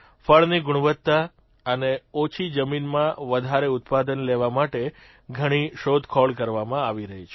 ફળની ગુણવત્તા અને ઓછી જમીનમાં વધારે ઉત્પાદન લેવા માટે ઘણી શોધખોળ કરવામાં આવી રહી છે